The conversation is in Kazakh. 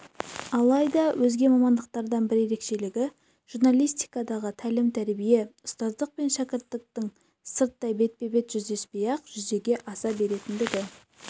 алайда өзге мамандықтардан бір ерекшелігі журналистикадағы тәлім-тәрбие ұстаздық пен шәкірттіктің сырттай бетпе-бет жүздеспей-ақ жүзеге аса беретіндігі